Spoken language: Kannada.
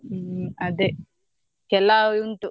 ಹ್ಮ್ ಅದೆ ಕೆಲವ್ ಉಂಟು.